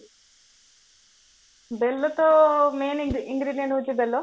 ବେଲ ତ main ହାଉଚି ବେଲ